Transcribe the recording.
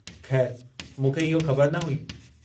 खै़रु, मूंखे इहो ख़बर न हुई।